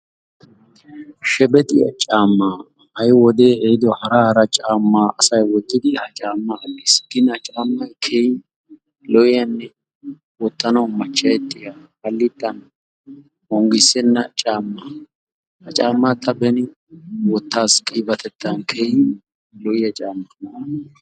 Shebexxiya caammaa, ha'i wodee ehiido hara hara caammaa asay wottidi ha caammaa aggiis. Caammay keehi lo''iyanne wottanawu machcha'ettiya hallittan onggissenna caammaa. Ha caammaa ta beni wotaas qiibatettan keehin lo''iyaa caamma.